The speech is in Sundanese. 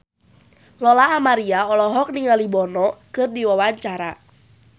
Lola Amaria olohok ningali Bono keur diwawancara